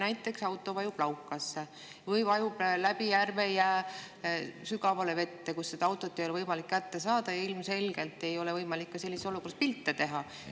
Näiteks auto vajub laukasse või vajub läbi järvejää sügavale vette, kust seda ei ole võimalik kätte saada, ja ilmselgelt ei ole võimalik ka sellises olukorras pilte teha.